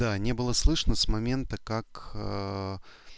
да не было слышно с момента как